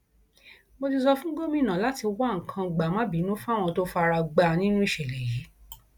mo ti sọ fún gómìnà láti wá nǹkan gbàmábìínú fáwọn tó fara gbá nínú ìṣẹlẹ yìí